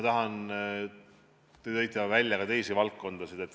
Te tõite välja ka teisi valdkondi.